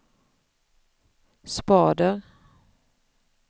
spader